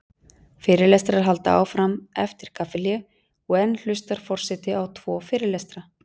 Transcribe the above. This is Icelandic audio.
Fyrirlestrar halda áfram eftir kaffihlé og enn hlustar forseti á tvo fyrirlestra.